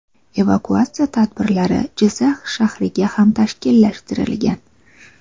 Evakuatsiya tadbirlari Jizzax shahriga ham tashkillashtirilgan.